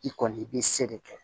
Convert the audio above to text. I kɔni i bɛ se de kɛ